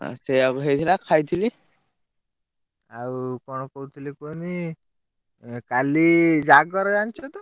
ସେଇଆକୁ ହେଇଥିଲା ଖାଇଥିଲି ଆଉ କଣ? କହୁଥିଲି କୁହନୀ କାଲି ଜାଗର ଜିଣିଛତ?